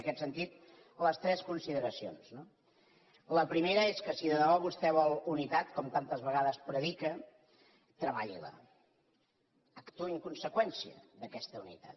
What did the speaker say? i en aquest sentit les tres consideracions no la primera és que si de debò vostè vol unitat com tantes vegades predica treballi la actuï amb conseqüència d’aquesta unitat